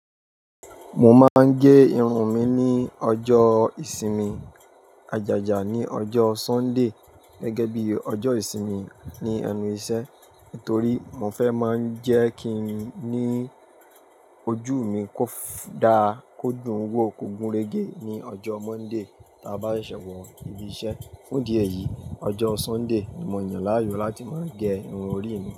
Mo máa ń gé irun mi ní ọjọ́ ìsinmi, àjàjà ní ọjọ́ Sunday gẹ́gẹ́ bí ọjọ́ ìsinmi ni ẹnu iṣẹ́. Nítorí mo fẹ́ máa ń jẹ́ kí i ní ojú mi kó dáa, kó dùn wò kò gun rege ní ọjọ́ Monday tí a bá ṣẹ̀ṣẹ̀ wọ ibi iṣẹ́. Fún ìdí èyí, ọjọ́ Sunday ni mo yàn láàyò láti máa gẹ irun orí mi.